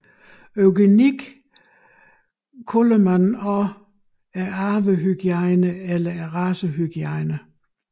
Eugenik kaldes også arvehygiejne eller racehygiejne